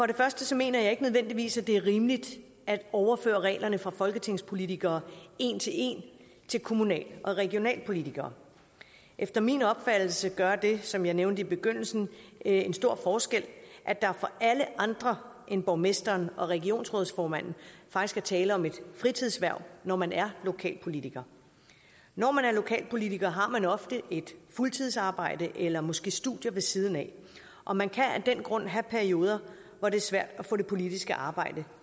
det første mener jeg ikke nødvendigvis at det er rimeligt at overføre reglerne for folketingspolitikere en til en til kommunal og regionalpolitikere efter min opfattelse gør det som jeg nævnte i begyndelsen en stor forskel at der for alle andre end borgmesteren og regionsrådsformanden faktisk er tale om et fritidshverv når man er lokalpolitiker når man er lokalpolitiker har man ofte et fuldtidsarbejde eller måske studier ved siden af og man kan af den grund have perioder hvor det er svært at få det politiske arbejde